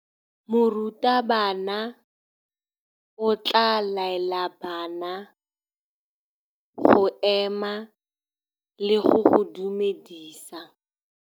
Morutabana o tla laela bana go ema le go go dumedisa.